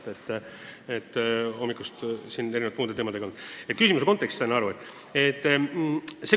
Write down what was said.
Täna olen hommikust saati muude teemadega hõivatud olnud.